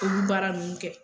Olu baara ninnu kɛ